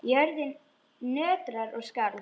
Jörðin nötraði og skalf.